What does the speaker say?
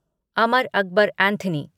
Amar Akbar Anthony